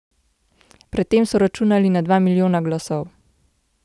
Pred tem so računali na dva milijona glasov.